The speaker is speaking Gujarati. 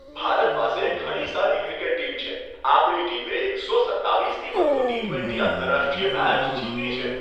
ભારત પાસે ઘણી સારી ક્રિકેટ ટીમ છે. આપણી ટીમે એકસો સત્તાવીસથી વધુ ટી ટ્વેન્ટી આંતરરાષ્ટ્રીય મેચ જીતી છે.